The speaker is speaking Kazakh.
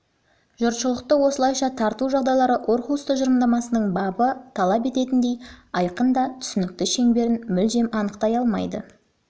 жұртшылықты осылайша тарту жағдайлары орхусс тұжырымдамасының бабы талап ететіндей айқын да түсінікті шеңберін мүлдем анықтай алмайды